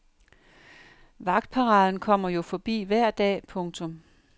Vagtparaden kommer jo forbi hver dag. punktum